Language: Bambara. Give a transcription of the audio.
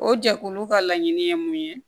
O jɛkulu ka laɲini ye mun ye